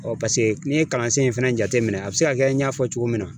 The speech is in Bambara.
n'i ye kalansen in fɛnɛ jateminɛ a bɛ se ka kɛ n y'a fɔ cogo min na